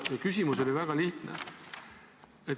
Küsimus oli väga lihtne.